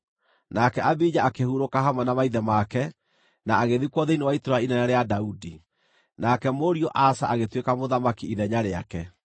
Nake Abija akĩhurũka hamwe na maithe make, na agĩthikwo thĩinĩ wa itũũra inene rĩa Daudi. Nake mũriũ Asa agĩtuĩka mũthamaki ithenya rĩake.